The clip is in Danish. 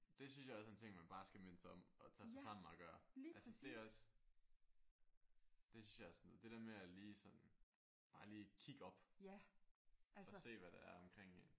Det synes jeg også er en ting man bare skal minde sig om at tage sig sammen at gøre. Altså det er også det synes jeg også er sådan bare lige kigge op og se hvad der er omkring en